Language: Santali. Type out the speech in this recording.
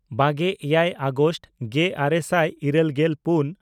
ᱵᱟᱜᱮᱼᱮᱭᱟᱭ ᱟᱜᱚᱥᱴ ᱜᱮᱼᱟᱨᱮ ᱥᱟᱭ ᱤᱨᱟᱹᱞᱜᱮᱞ ᱯᱩᱱ